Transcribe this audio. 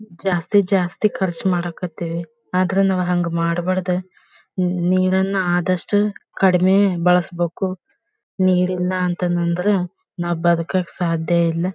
ಜಾಸ್ತಿ ಜಾಸ್ತಿ ಖರ್ಚ್ ಮಾಡ್ ಕತ್ತಿವಿ ಆದ್ರೆ ನಾವ್ ಹಂಗ್ ಮಾಡ್ ಬಾರದ್ ನೀರನ್ನ ಆದಷ್ಟು ಕಡಿಮೆ ಬಳಸಬೇಕು ನೀರ್ ಇಲ್ಲಾ ಅಂತ ಅಂದ್ರೆ ನಾವ್ ಬದಕಕ್ಕ ಸಾಧ್ಯಯಿಲ್ಲ.